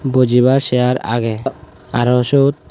bujibar chear aagey arow siot.